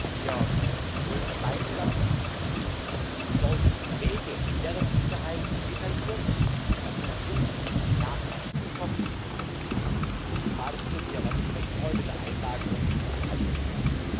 Wir wollen gemeinsam die Entsorgungswege und deren Sicherheit detailliert und fundiert nachgewiesen bekommen, zumal es sich um sehr lange Zeiträume der Einlagerung handeln wird.